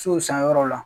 Sow san yɔrɔw la